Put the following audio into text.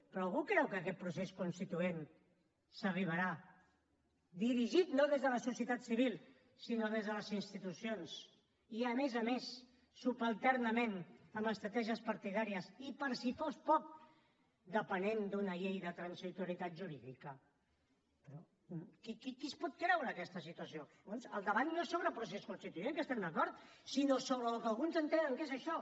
però algú creu que a aquest procés constituent s’arribarà dirigit no des de la societat civil sinó des de les institucions i a més a més subalternament amb estratègies partidàries i per si fos poc depenent d’una llei de transitorietat jurídica però qui qui es pot creure aquesta situació llavors el debat no és sobre el procés constituent que hi estem d’acord sinó sobre el que alguns entenen què és això